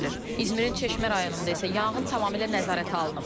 İzmərin çeşmə rayonunda isə yanğın tamamilə nəzarətə alınıb.